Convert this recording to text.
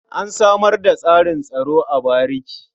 An samar da tsarin tsaro a bariki.